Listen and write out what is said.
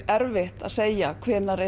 erfitt að segja hvenær